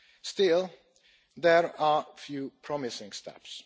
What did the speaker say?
Still, there are a few promising steps.